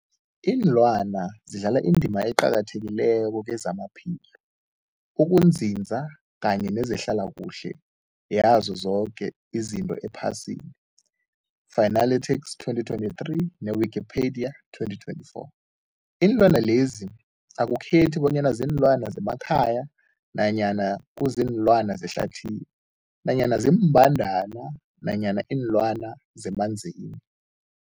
Iinlwana zidlala indima eqakathekileko kezamaphilo, ukunzinza kanye nezehlala kuhle yazo zoke izinto ephasini, Fuanalytics 2023, ne-Wikipedia 2024. Iinlwana lezi akukhethi bonyana ziinlwana zemakhaya nanyana kuziinlwana zehlathini nanyana iimbandana nanyana iinlwana zemanzini.